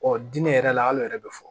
Ɔ diinɛ yɛrɛ la hal'o yɛrɛ bɛ fɔ